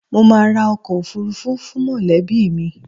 Mo máa ra ọkọ̀ òfuurufú fún mọ̀lẹ́bí mi